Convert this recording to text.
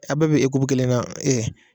A bɛɛ bɛ kelen na